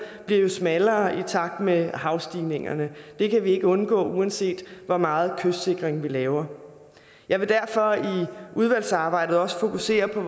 bliver jo smallere i takt med havstigningerne det kan vi ikke undgå uanset hvor meget kystsikring vi laver jeg vil derfor i udvalgsarbejdet også fokusere på